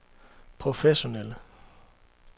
professionelle